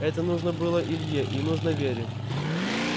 это нужно было илье и нужно вере